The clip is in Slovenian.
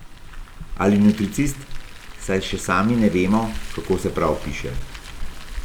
Ali nutricist, saj še sami ne vemo, kako se prav piše.